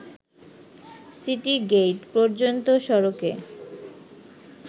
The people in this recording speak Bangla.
সিটি গেইট পর্যন্ত সড়কে